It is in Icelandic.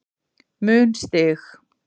mun stig